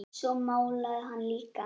Svo málaði hann líka.